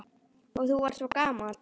Og þú varst svo gamall.